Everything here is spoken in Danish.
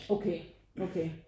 Okay okay